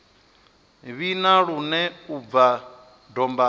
vhina lune u bva dombani